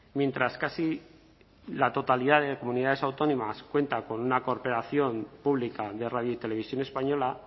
mientras casi la totalidad de comunidades autónomas cuenta con una corporación pública de radio y televisión española